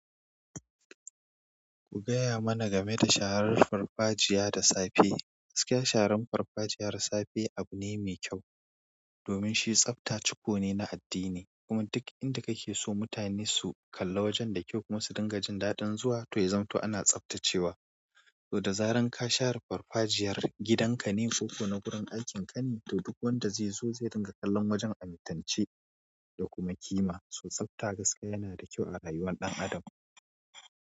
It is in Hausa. Ku gaya mana game da sharar farfajiya da safe. Gaskiya sharan farfajiya da safe abu ne mai kyau, domin shi tsafta cuko ne na addini. Kuma duk inda kake so mutane su kalla wajen da kyau kuma su dinga jin daɗin zuwa to ya zamto ana tsaftacewa. To da zaran ka share farfajiyar gidan ka ne ko ko na gurin aikin ka ne, to duk wanda zai zo zai ringa kallon wajen amintacce da kuma ƙima. So tsafta gaskiya yana da kyau a rayuwar ɗan adam.